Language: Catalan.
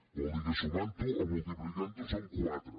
vol dir que sumant ho o multiplicant ho són quatre